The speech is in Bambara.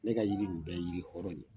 Ne ka yiri in bɛ ye yiri hɔrɔn de ye